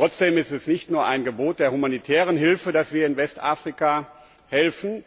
Trotzdem ist es nicht nur ein Gebot der humanitären Hilfe, dass wir in Westafrika helfen,